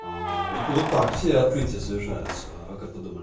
вот вот так вот все открытия совершаются а как вы думали